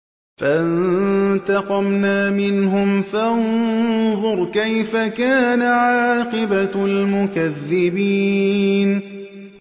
فَانتَقَمْنَا مِنْهُمْ ۖ فَانظُرْ كَيْفَ كَانَ عَاقِبَةُ الْمُكَذِّبِينَ